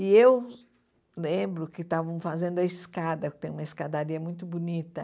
E eu lembro que estavam fazendo a escada, que tem uma escadaria muito bonita.